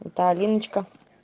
да алиночка